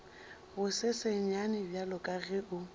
bosesenyane bjalo ka ge o